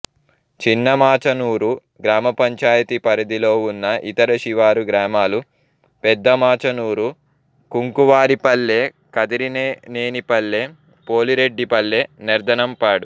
చినమాచనూరు గ్రామపంచాయతీ పరిధిలో ఉన్న ఇతర శివారు గ్రామాలు పెద్దమాచనూరు కుంకువారిపల్లె కదిరినేనిపల్లె పోలిరెడ్డిపల్లె నెర్దనంపాడు